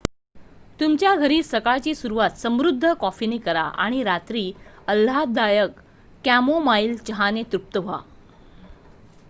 तुमच्या घरी सकाळची सुरुवात समृद्ध कॉफीने करा आणि रात्री आल्हाददायक कॅमोमाइल चहाने तृप्त व्हा